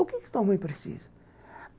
O que sua mãe precisa?